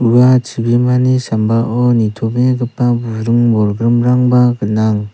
ua chibimani sambao nitobegipa buring bolgrimrangba gnang.